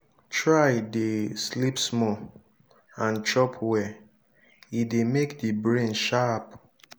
try de sleep small and chop well e de make di brain sharp